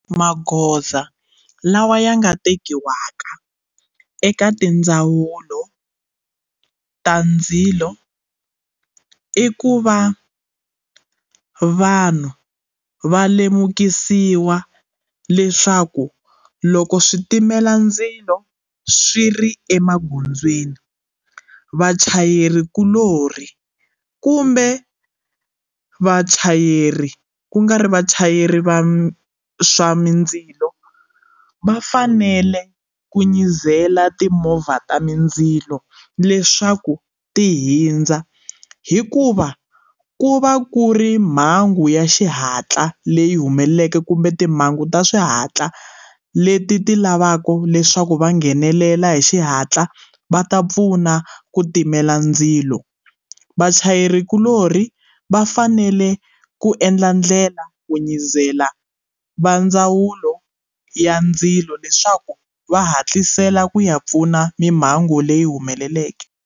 Magoza lawa ya nga tekiwaka eka tindzawulo ta ndzilo i ku va vanhu va lemukisiwa leswaku loko switimela ndzilo swi ri emagondzweni vachayeri kulorhi kumbe vachayeri kungari vachayeri va swa mindzilo vafanele ku nyizela timovha ta mindzilo leswaku ti hindza hi ku va ku va ku ri mhangu ya xihatla leyi humeleleke kumbe timhangu ta swihatla leti ti lavaka leswaku va nghenelela hi xihatla va ta pfuna ku timela ndzilo vachayeri kulorhi va fanele ku endla ndlela ku nyizela va ndzawulo ya ndzilo leswaku va hatlisela ku ya pfuna mimhango leyi humeleleke.